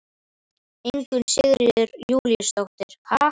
Ingunn Sigríður Júlíusdóttir: Ha?